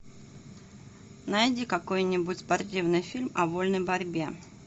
найди какой нибудь спортивный фильм о вольной борьбе